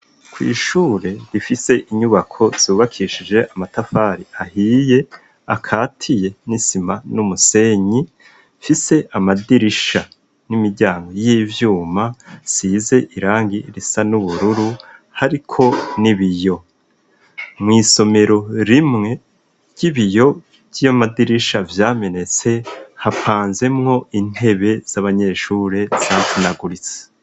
Kw'ishure rifise inyubako zubakishije amatafari ahiye akatiye n'isima n'umusenyi fise amadirisha n'imiryango y'ivyuma size irangi risa n'ubururu hariko ni biyo mw'isomero rimwee iyojyiyo madirisha vyamenetse hapanzemwo intebe z'abanyeshure santinaguritsi.